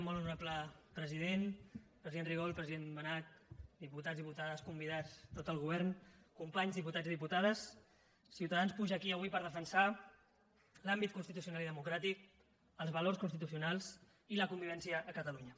molt honorable president president rigol president benach diputats diputades convidats tot el govern companys diputats i diputades ciutadans puja aquí avui per defensar l’àmbit constitucional i democràtic els valors constitucionals i la convivència a catalunya